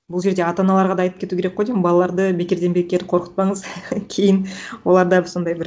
бұл жерде ата аналарға да айтып кету керек қой деймін балаларды бекерден бекер қорқытпаңыз кейін олар дәп сондай бір